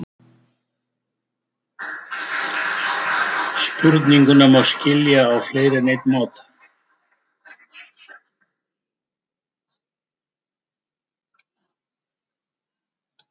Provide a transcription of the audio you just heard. Spurninguna má skilja á fleiri en einn máta.